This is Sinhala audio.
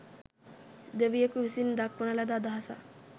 දෙවියකු විසින් දක්වන ලද අදහසක්